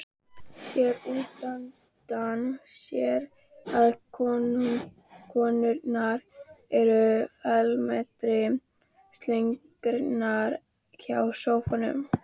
Sér útundan sér að konurnar eru felmtri slegnar hjá sófanum.